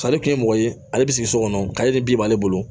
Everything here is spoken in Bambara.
Ale kun ye mɔgɔ ye ale bɛ sigi so kɔnɔ k'ale de bin b'ale bolo